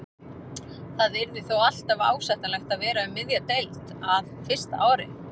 Það yrði þó alltaf ásættanlegt að vera um miðja deild á fyrsta ári.